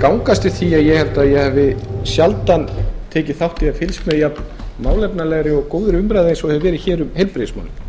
ganga eftir því að ég held að ég hafi sjaldan tekið þátt í eða fylgst með jafn málefnalegri og góðri umræðu eins og hefur verið um heilbrigðismálin